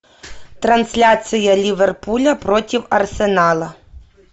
трансляция ливерпуля против арсенала